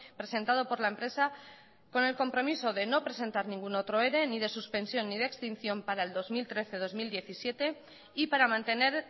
presentado por la empresa con el compromiso de no presentar ningún otro ere ni de suspensión ni de extinción para el dos mil trece dos mil diecisiete y para mantener